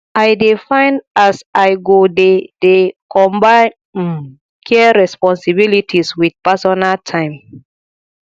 i dey find as i go dey dey combine um care responsibilities wit personal time